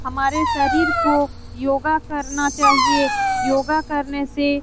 हमारे शरीर को योगा करना चाहिए योगा करने से --